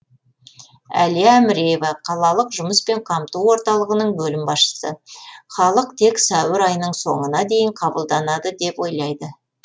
әлия әміреева қалалық жұмыспен қамту орталығының бөлім басшысы халық тек сәуір айының соңына дейін қабылданады деп ойлайды